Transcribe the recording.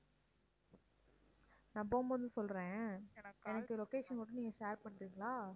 நான் போம்போது சொல்றேன் எனக்கு location மட்டும் நீங்க share பண்றீங்களா?